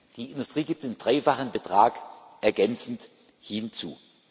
Die Industrie gibt den dreifachen Betrag ergänzend hinzu.